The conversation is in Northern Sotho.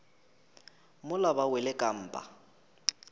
mola ba wele ka mpa